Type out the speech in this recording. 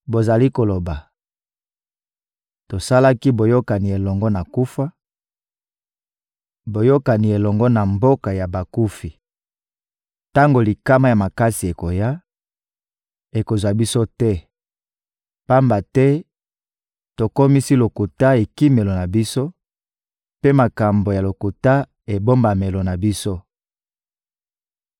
Bozali koloba: «Tosalaki boyokani elongo na kufa, boyokani elongo na mboka ya bakufi. Tango likama ya makasi ekoya, ekozwa biso te; pamba te tokomisi lokuta ekimelo na biso mpe makambo ya lokuta ebombamelo na biso.»